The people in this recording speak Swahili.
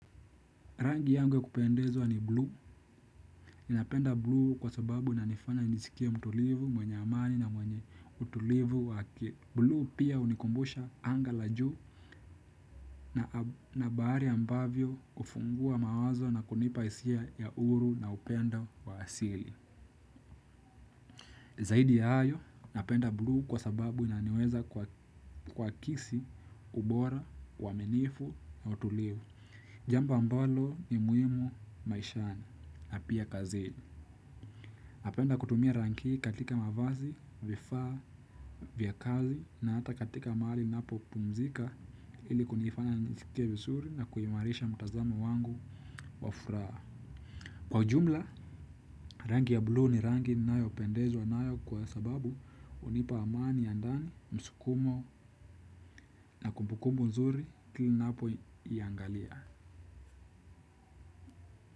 Rangi yangu ya kupendezwa ni buluu. Ninapenda buluu kwa sababu inanifanya nijisikie mtulivu mwenye amani na mwenye utulivu wake. Buluu pia hunikumbusha anga la juu na bahari ambavyo hufungua mawazo na kunipa hisia ya huru na upendo wa asili. Zaidi ya hayo, napenda buluu kwa sababu inaniweza kuakisi ubora, uaminifu na utulivu. Jambo ambalo ni muhimu maishani na pia kazini. Napenda kutumia rangi hii katika mavazi, vifaa, vya kazi na hata katika mahali ninapopumzika ili kunifanya nisikie vizuri na kuimarisha mtazamo wangu wa furaha. Kwa ujumla, rangi ya buluu ni rangi ninayopendezwa nayo kwa sababu hunipa amani ya ndani, msukumo na kumbukumbu nzuri ninapoiangalia.